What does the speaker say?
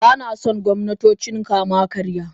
Ba na son gwamnatocin kama-karya.